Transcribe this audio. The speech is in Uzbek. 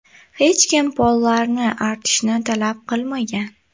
Hech kim pollarni artishni talab qilmagan.